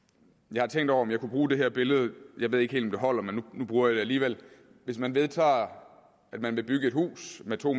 jeg har tænkt over om jeg kunne bruge det her billede jeg ved ikke helt om det holder men nu bruger jeg det alligevel hvis man vedtager at man vil bygge et hus med to